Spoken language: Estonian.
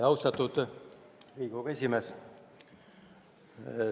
Austatud Riigikogu esimees!